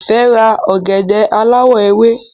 Ife rà ògèdè aláwò ewé